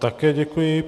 Také děkuji.